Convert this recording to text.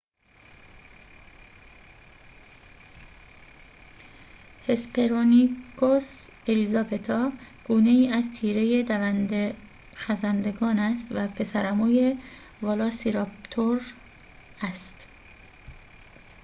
هسپرونیکوس الیزابتا گونه‌ای از تیره دونده‌خزندگان است و پسرعموی ولاسیراپتور است